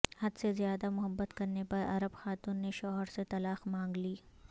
حد سے زیادہ محبت کرنے پر عرب خاتون نے شوہر سے طلاق مانگ لی